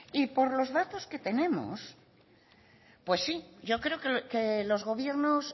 y por los datos que tenemos pues sí yo creo que los gobiernos